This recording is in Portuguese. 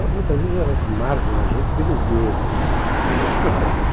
Muitas vezes elas marcam a gente pelos erros.